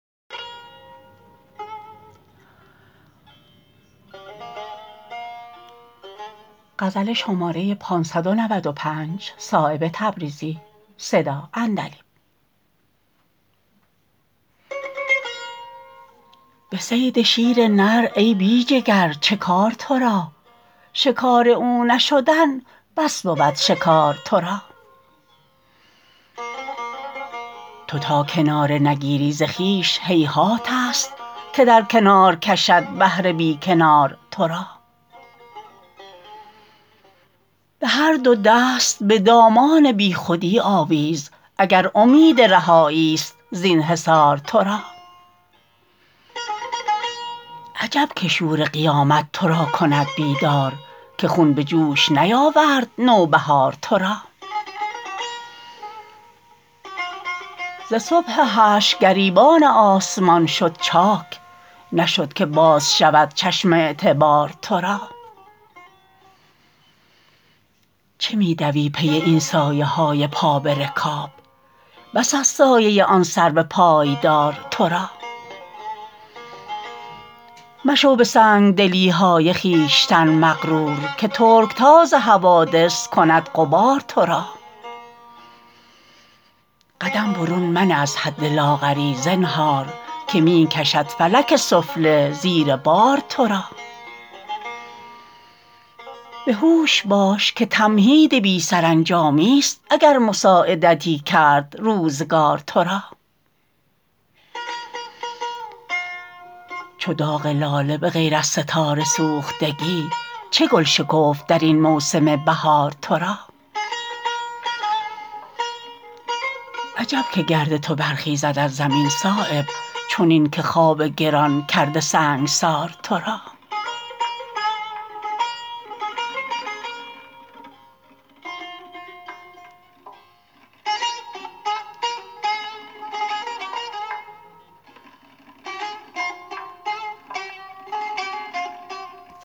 به صید شیر نر ای بی جگر چه کار ترا شکار او نشدن بس بود شکار ترا تو تا کناره نگیری ز خویش هیهات است که در کنار کشد بحر بی کنار ترا به هر دو دست به دامان بی خودی آویز اگر امید رهایی است زین حصار ترا عجب که شور قیامت ترا کند بیدار که خون به جوش نیاورد نوبهار ترا ز صبح حشر گریبان آسمان شد چاک نشد که باز شود چشم اعتبار ترا چه می دوی پی این سایه های پا به رکاب بس است سایه آن سرو پایدار ترا مشو به سنگدلی های خویشتن مغرور که ترکتاز حوادث کند غبار ترا قدم برون منه از حد لاغری زنهار که می کشد فلک سفله زیر بار ترا به هوش باش که تمهید بی سرانجامی است اگر مساعدتی کرد روزگار ترا چو داغ لاله به غیر از ستاره سوختگی چه گل شکفت درین موسم بهار ترا عجب که گرد تو برخیزد از زمین صایب چنین که خواب گران کرده سنگسار ترا